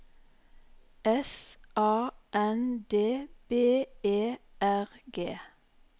S A N D B E R G